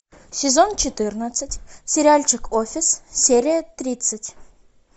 сезон четырнадцать сериальчик офис серия тридцать